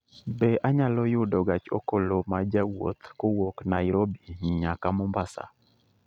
Bende anyalo yudo gach okoloma jawuoth kowuok Nairobi nyaka Mombasa